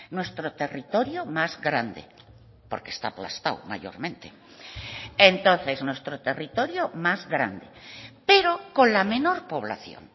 nuestro territorio más grande porque está aplastado mayormente entonces nuestro territorio más grande pero con la menor población